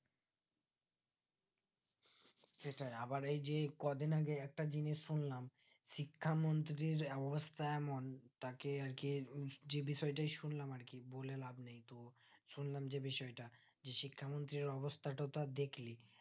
সেটাই আবার এই যে কদিন আগে একটা জিনিস শুনলাম শিক্ষামন্ত্রী অবস্থা এমন তাকে আরকি যে বিষয় টাই শুনলাম আরকি বলে লাবনেই তো শুনলাম যে বিষয়টা যে শিক্ষামন্ত্রীর অবস্থা তা তো দেখলি